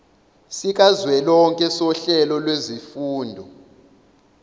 sikazwelonke sohlelo lwezifundo